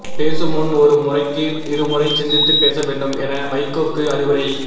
பேசும் முன் ஒருமுறைக்கு இருமுறை சிந்தித்து பேச வேண்டும் என வைகோக்கு அறிவுரை